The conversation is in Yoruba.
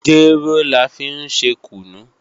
Jéró la fi ń ṣe kùnú